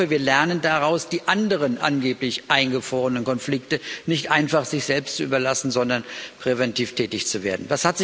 Ich hoffe, wir lernen daraus, die anderen angeblich eingefrorenen Konflikte nicht einfach sich selbst zu überlassen, sondern präventiv tätig zu werden.